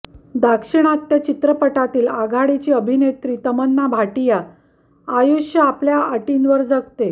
दाक्षिणात्य चित्रपटातील आघाडीची अभिनेत्री तमन्ना भाटिया आयुष्य आपल्या अटींवर जगते